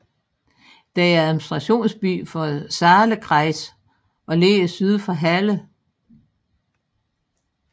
Den er administrationsby for Saalekreis og ligger syd for Halle